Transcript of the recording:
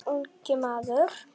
Ungi maður